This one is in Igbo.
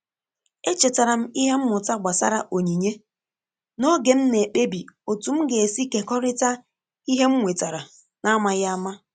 E chetara m ìhè mmụta gbasàra onyinye n’oge m na-ekpebi otu m ga-esi kekọrịta ìhè m nwetàrà n’amaghị àmà.